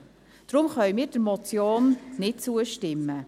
Deswegen können wir der Motion nicht zustimmen.